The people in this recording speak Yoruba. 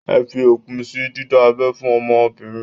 Ẹ fi òpin sí dídá abẹ́ fún ọmọbìnrin!